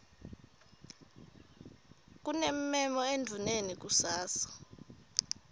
kunemmemo endvuneni kusasa